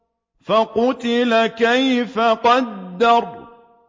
فَقُتِلَ كَيْفَ قَدَّرَ